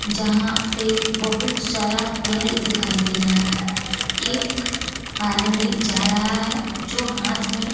जहां पे बहुत सारा पेड़ दिखाई दे रहा है एक आदमी जा रहा है जो हाथ में--